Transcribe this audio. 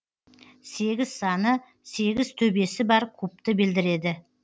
сегіз саны сегіз төбесі бар кубты білдіреді